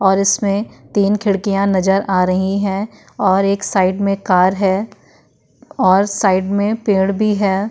और इसमें तीन खिड़कियां नजर आ रहीं है और एक साइड मै कार है और साइड मै पेड़ भी है।